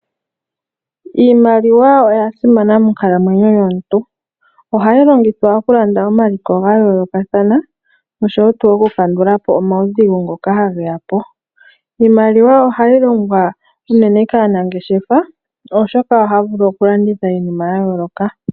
Iimaliwa oya simana monkalamwenyo yomuntu. Ohayi longithwa oku landa omaliko ga yoolokathana noshowo tuu oku kandula po omaudhigu ngoka hage ya po. Iimaliwa ohayi longwa uunene kaanangeshefa oshoka ohaya vulu oku landitha iinima ya yooloka.